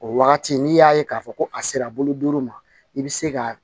O wagati n'i y'a ye k'a fɔ ko a sera bolo duuru ma i bɛ se ka